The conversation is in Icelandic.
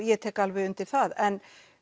ég tek alveg undir það en